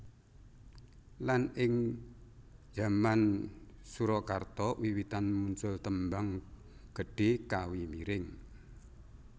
Lan ing zaman Surakarta wiwitan muncul tembang gedhé kawi miring